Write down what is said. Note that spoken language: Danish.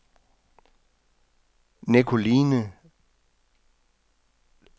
Nicoline Le